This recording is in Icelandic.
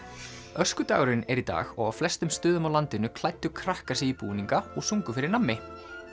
öskudagurinn er í dag og á flestum stöðum á landinu klæddu krakkar sig í búninga og sungu fyrir nammi